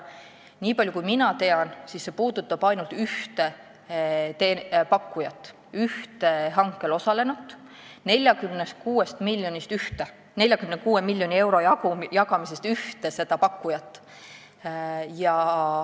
Nii palju kui mina tean, puudutab see ainult ühte hankel osalenut, ühte pakkujat selle 46 miljoni euro jagamise puhul.